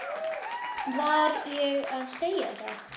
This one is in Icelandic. Var ég að segja það?